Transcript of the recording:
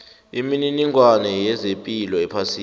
imininingwana yezepilo ephasini